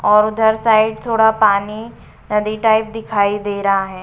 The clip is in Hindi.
और उधर साइड थोड़ा पानी नदी टाइप दिखाई दे रहा है।